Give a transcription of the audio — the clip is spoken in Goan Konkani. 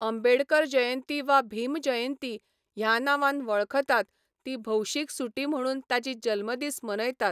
अंबेडकर जयंती वा भीम जयंती ह्या नांवान वळखतात ती भौशीक सुटी म्हणून ताची जल्मदीस मनयतात.